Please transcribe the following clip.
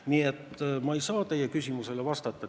Nii et ma ei saa teie küsimusele vastata.